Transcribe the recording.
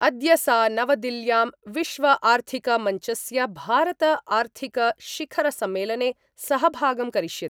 अद्य सा नवदिल्ल्यां विश्वआर्थिक मंचस्य भारतआर्थिकशिखरसम्मेलने सहभागं करिष्यति।